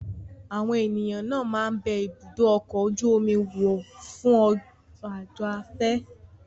Àwọn ènìyàn náà máa ń bẹ ibùdó ọkọ̀ ojú omi wò fún àjò afẹ́.